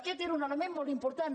aquest era un element molt important